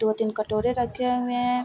दो-तीन कटोरे रखे हुए हैं।